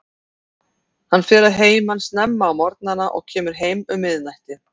Hann fer að heiman snemma á morgnana og kemur heim um miðnætti.